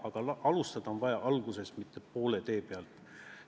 Aga alustada on vaja algusest, mitte poole tee pealt.